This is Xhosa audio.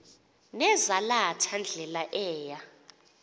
nezalatha ndlela eya